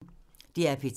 DR P3